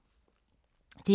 DR K